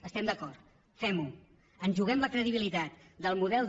hi estem d’acord femho ens hi juguem la credibilitat del model de